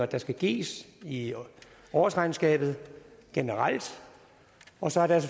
der skal gives i årsregnskabet generelt og så er der